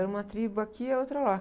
Era uma tribo aqui, a outra lá.